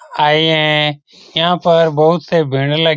आए है यहाँ पर बहुत से भीड़ लग --